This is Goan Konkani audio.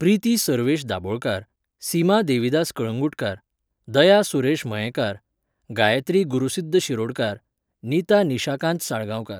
प्रिती सर्वेश दाबोळकार, सीमा देविदास कळंगूटकार, दया सूरेश मयेकार, गायत्री गुरुसिद्द शिरोडकार, निता निशाकांत साळगांवकार.